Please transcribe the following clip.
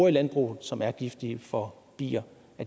i landbruget og som er giftige for bier